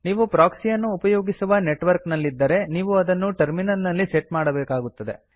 ನೀವು ಪ್ರೊಕ್ಸಿಯನ್ನು ಉಪಯೋಗಿಸುವ ನೆಟ್ವರ್ಕ್ ನಲ್ಲಿದ್ದರೆ ನೀವು ಅದನ್ನು ಟರ್ಮಿನಲ್ ನಲ್ಲಿ ಸಟ್ ಮಾಡಬೇಕಾಗುತ್ತದೆ